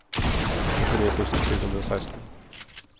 førtini tusen sju hundre og seksten